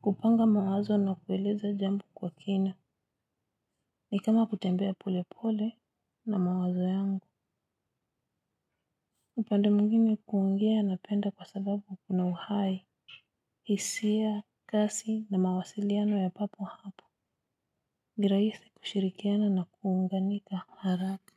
Kupanga mawazo na kueleza jambo kwa kina. Ni kama kutembea pole pole na mawazo yangu. Upande mwingine, kuongea napenda kwa sababu kuna uhai. Hisia, kasi na mawasiliano ya papo hapo. Ni rahisi kushirikiana na kuunganika haraka.